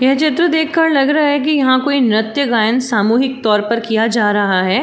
यह चित्र देखकर लग रहा कि यहाँ कोई नृत्य गायन सामूहिक तौर पर किया जा रहा है।